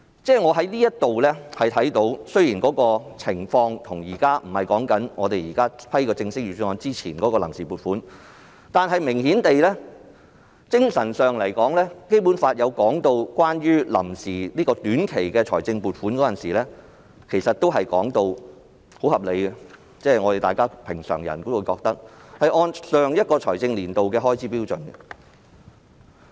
"由此可見，雖然現在的情況不是審批正式的預算案而是臨時撥款，但顯然在精神上，《基本法》也就臨時短期撥款訂定了很合理的安排，規定須按常人認同的做法，依循上一財政年度的開支標準行事。